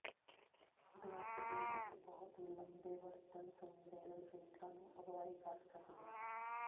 drug ਦੀ ਇੱਕ ਬਹੁਤ ਹੀ ਲੰਬੇ ਵਰਤਣ ਸੰਵੇਦਨਸ਼ੀਲਤਾ ਨੂੰ ਅਗਵਾਈ ਕਰ ਸਕਦੇ ਹਨ